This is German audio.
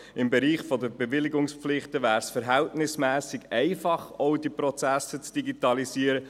Im Bereich der Bewilligungspflichten wäre es verhältnismässig einfach, auch diese Prozesse zu digitalisieren.